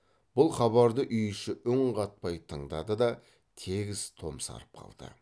бұл хабарды үй іші үн қатпай тыңдады да тегіс томсарып қалды